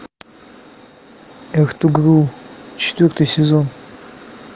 эртугрул четвертый сезон